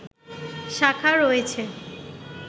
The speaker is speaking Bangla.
শাখা রয়েছে